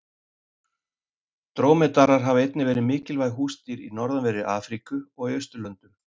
Drómedarar hafa einnig verið mikilvæg húsdýr í norðanverðri Afríku og í Austurlöndum.